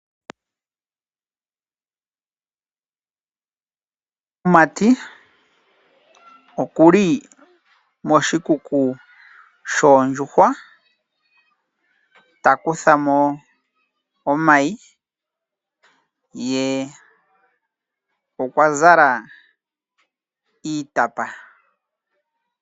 Omumati oku li moshikuku shoondjuhwa ta kutha mo omayi, ye okwa zala iitapa.